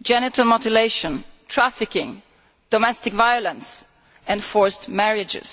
genital mutilation, trafficking, domestic violence and forced marriages.